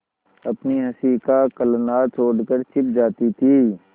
अपनी हँसी का कलनाद छोड़कर छिप जाती थीं